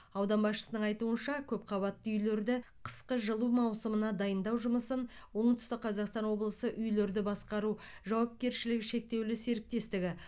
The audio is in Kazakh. аудан басшысының айтуынша көпқабатты үйлерді қысқы жылу маусымына дайындау жұмысын оңтүстік қазақстан облысы үйлерді басқару жауапкершілігі шектеулі серіктестігі